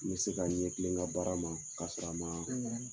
N ma se ka n ɲɛ tile n ka baara ma ka soro a maa